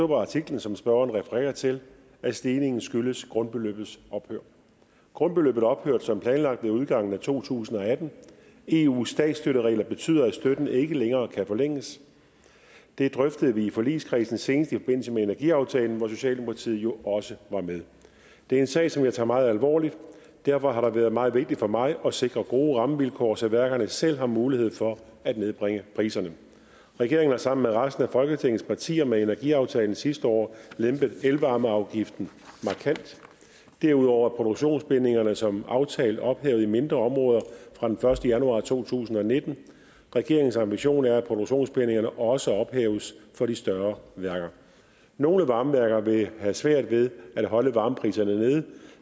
på artiklen som spørgeren refererer til at stigningen skyldes grundbeløbets ophør grundbeløbet ophørte som planlagt ved udgangen af to tusind og atten eus statsstøtteregler betyder at støtten ikke længere kan forlænges det drøftede vi i forligskredsen senest i forbindelse med energiaftalen hvor socialdemokratiet jo også var med det er en sag som jeg tager meget alvorligt og derfor har det været meget vigtigt for mig at sikre gode rammevilkår så værkerne selv har mulighed for at nedbringe priserne regeringen har sammen med resten af folketingets partier med energiaftalen sidste år lempet elvarmeafgiften markant derudover er produktionsbindingerne som aftalt ophævet i mindre områder fra den første januar to tusind og nitten regeringens ambition er at produktionsbindingerne også ophæves for de større værker nogle varmeværker vil have svært ved at holde varmepriserne nede